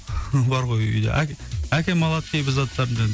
бар ғой үйде әкем алады кейбір заттарымды